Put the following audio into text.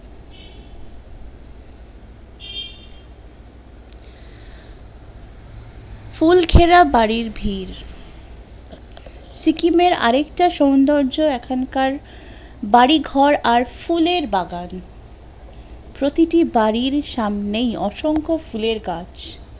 ফুল ঘেরা বাড়ির ভিড় সিকিমে র আরকেটা সুন্দর্য্য এখনকার বাড়িঘর আর ফুলের বাগান, প্রতিটি বাড়ির সামনেই অসংখ্য ফুলের গাছ